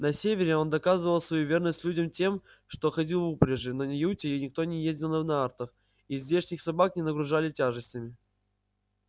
на севере он доказывал свою верность людям тем что ходил в упряжи но на юте никто не ездил на нартах и здешних собак не нагружали тяжестями